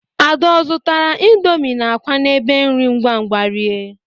Ada ọ zọtara indomi na akwa n'ebe nri ngwangwa rie?